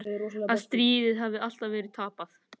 Að stríðið hafi alltaf verið tapað.